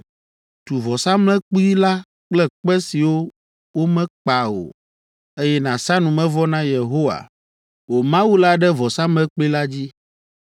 Tu vɔsamlekpui la kple kpe siwo womekpa o, eye nàsa numevɔ na Yehowa, wò Mawu la ɖe vɔsamlekpui la dzi.